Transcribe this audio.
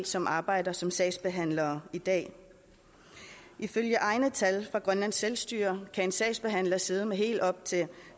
som arbejder som sagsbehandlere i dag ifølge egne tal fra grønlands selvstyre kan en sagsbehandler sidde med helt op til